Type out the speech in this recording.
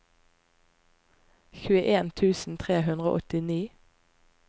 tjueen tusen tre hundre og åttini